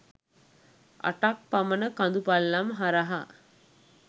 අටක් පමණ කඳු පල්ලම් හරහා